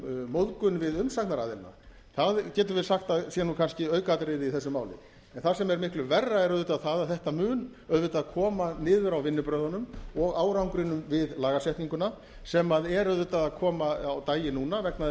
móðgun við umsagnaraðilann það getum við sagt að sé kannski aukaatriði í þessu máli það sem er miklu verra er það að þetta mun auðvitað koma niður á vinnubrögðunum og árangrinum við lagasetninguna sem er að koma á daginn núna vegna þess